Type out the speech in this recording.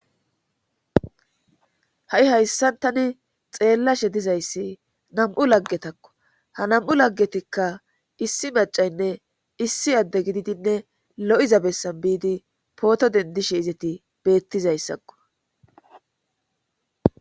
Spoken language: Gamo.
Ha7i hayssan tani xeellashe dizayssi nam7u laggetakko ha nam7u laggetikka issi maccaynne issi adde gididinne lo7iza bessan biidi pooto denddishe izeti beettizaysakko.